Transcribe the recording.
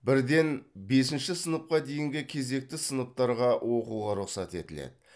бірден бесінші сыныпқа дейінгі кезекті сыныптарға оқуға рұқсат етіледі